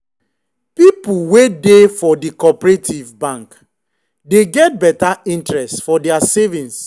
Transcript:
people wey dey for the cooperative bank dey get better interest for their savings.